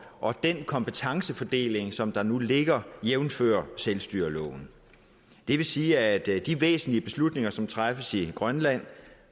og den kompetencefordeling som der nu ligger jævnfør selvstyreloven det vil sige at det er de væsentlige beslutninger som træffes i grønland